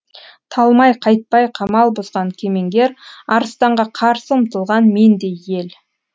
талмай қайтпай қамал бұзған кемеңгер арыстанға қарсы ұмтылған мендей ел